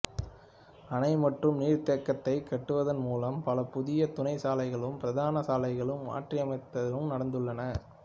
அணை மற்றும் நீர்த்தேக்கத்தைக் கட்டுவதன் மூலம் பல புதிய துணை சாலைகளும் பிரதான சாலைகளை மாற்றியமைத்தலும் நடந்துள்ளன